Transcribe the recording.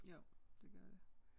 Jo det gør det